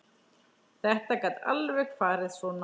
Þetta gat alveg farið svona.